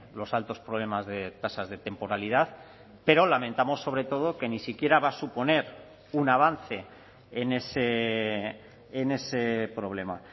los altos problemas de tasas de temporalidad pero lamentamos sobre todo que ni siquiera va a suponer un avance en ese problema